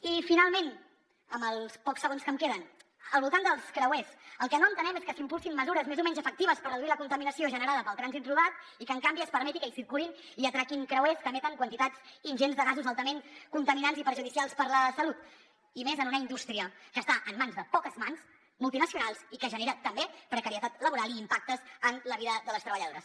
i finalment amb els pocs segons que em queden al voltant dels creuers el que no entenem és que s’impulsin mesures més o menys efectives per reduir la contaminació generada pel trànsit rodat i que en canvi es permeti que circulin i atraquin creuers que emeten quantitats ingents de gasos altament contaminants i perjudicials per a la salut i més en una indústria que està en mans de poques mans multinacionals i que genera també precarietat laboral i impactes en la vida de les treballadores